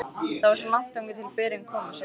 Það er svo langt þangað til berin koma, segir hann.